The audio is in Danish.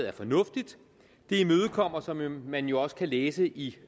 er fornuftigt det imødekommer som man jo også kan læse i